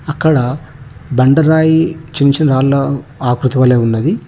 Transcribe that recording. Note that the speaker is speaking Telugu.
అక్కడ బండ రాయి చిన్న చిన్న రాళ్ళ ఆకృతి వలె ఉన్నది.